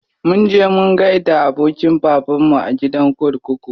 Mun je mun gaida abokin babanmu a gidan kurkuku.